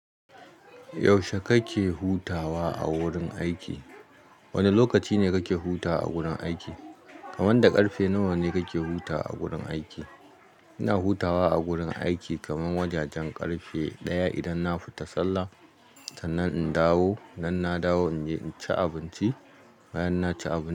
Yaushe kake hutawa a wurin aiki? Wane lokaci ne kake huta a gurin aiki? Kaman da karfe nawa ne kake hutawa a gurin aiki? Ina hutawa a gurin aiki kaman wajajen karfe ɗaya idan na fita Sallah. Sannan in dawo, idan na dawo in je in ci abinci. Bayan na ci abinci.